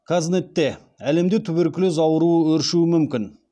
қазнетте әлемде туберкулез ауруы өршуі мүмкін